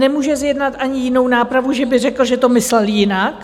Nemůže zjednat ani jinou nápravu, že by řekl, že to myslel jinak.